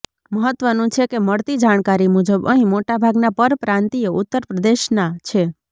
મહત્વનું છે કે મળતી જાણકારી મુજબ અહીં મોટાભાગના પરપ્રાંતિયો ઉત્તરપ્રદેશના છે